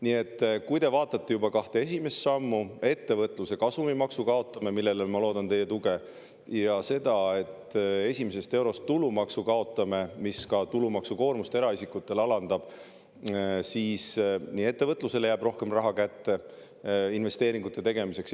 Nii juba kahe esimese sammuga – ettevõtluse kasumimaksu kaotame, millele ma loodan teie tuge, ja seda, et esimesest eurost kaob tulumaks ja see alandab ka eraisikute tulumaksukoormust – jääb ettevõtlusele rohkem raha investeeringute tegemiseks.